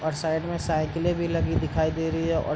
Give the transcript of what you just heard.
और साइड में साइकिले भी लगी दिखाई दे रही है और --